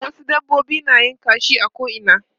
Wasu dabbobi na yin kashi a ko'ina.